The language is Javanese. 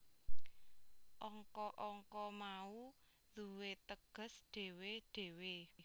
Angka angka mau duwé teges dhewe dhewe